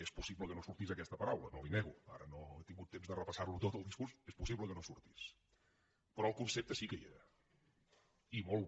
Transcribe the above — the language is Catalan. és possible que no sortís aquesta paraula no li ho nego ara no he tingut temps de repassarlo tot el discurs és possible que no sortís però el concepte sí que hi era i molt